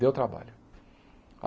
Deu trabalho.